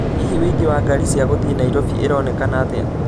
Hihi ũingĩ wa ngari cia gũthiĩ Nairobi ĩronekana atĩa